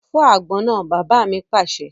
Fọ́ àgbọn náà! Bàbá mi pàṣẹ.